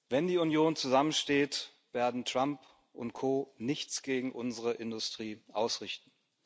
Wenn die Union zusammensteht, werden Trump Co nichts gegen unsere Industrie ausrichten.